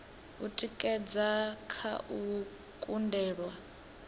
u tikedza kha u kundelwa